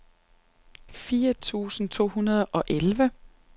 fire tusind to hundrede og elleve